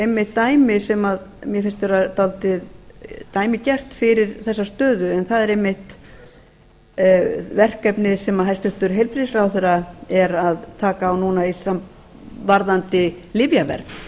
einmitt dæmi sem mér finnst vera dálítið dæmigert fyrir þessa stöðu en það er einmitt verkefnið sem hæstvirtur heilbrigðisráðherra er að taka á núna varðandi lyfjaverð